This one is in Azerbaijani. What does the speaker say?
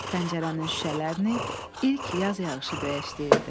Pəncərənin şüşələrini ilk yaz yağışı döyəşdirirdi.